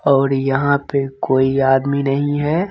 और यहाँ पे कोई आदमी नहीं है।